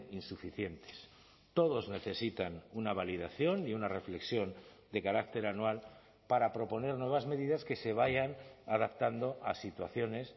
insuficientes todos necesitan una validación y una reflexión de carácter anual para proponer nuevas medidas que se vayan adaptando a situaciones